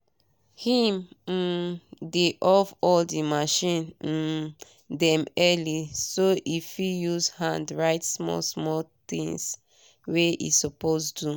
him um dey off all the machine um dem early so e fit use hand write small things wey e suppose do